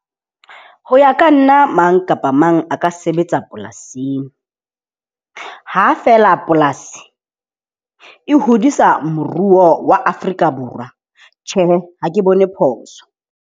Ho ya ka nna mang kapa mang a ka sebetsa polasing. Ha feela polasi e hodisa moruo wa Afrika Borwa, tjhe ha ke bone phoso.